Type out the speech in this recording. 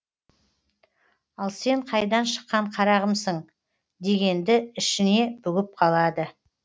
ал сен қайдан шыққан қарағымсың дегенді ішіне бүгіп қалады